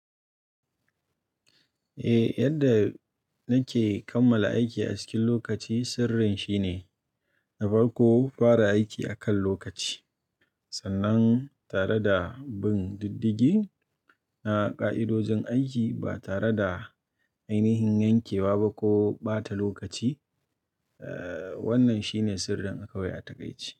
Eh, yadda nake kammala aiki a cikin lokaci sirrin shine na farko, fara aiki akan lokaci sannan tare da bin diddigi na ka'idojin aiki ba tare da ainihin yankewa ba ko ɓata lokaci. Eh wannan shine sirrin akwai a taƙaice.